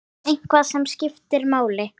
Eitthvað sem skiptir máli?